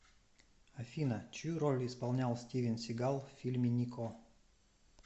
афина чью роль исполнял стивен сигал в фильме нико